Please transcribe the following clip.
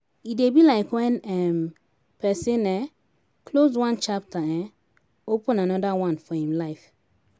e dey be like when um person um close one chapter um open anoda one for im life